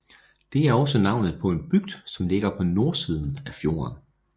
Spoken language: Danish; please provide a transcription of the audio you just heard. Det er også navnet på en bygd som ligger på nordsiden af fjorden